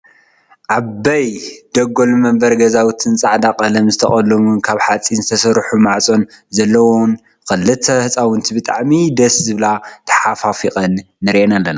ዓበይ ደጎልን መንበሪ ገዛውትን ፃዕዳ ቀለም ዝተቀለሙን ካብ ሓፂን ዝተሰርሐ መዕፆ ዘለዎን ክልተ ህፃውንቲ ብጣዐሚ ደስ ዝብላ ተሓቆቂፈን ንሪኢ ኣለና።